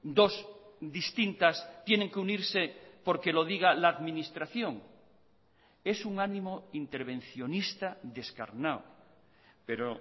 dos distintas tienen que unirse porque lo diga la administración es un ánimo intervencionista descarnado pero